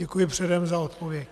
Děkuji předem za odpověď.